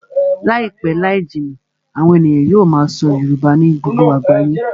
Láìpẹ́ láì jìnnà, àwọn ènìyàn yóò máa sọ Yorùbá ní gbogbo àgbáyé